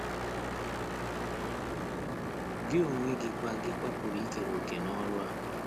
Gị onwe gị kwa gị kwa pụrụ ikere òkè n’ọrụ a.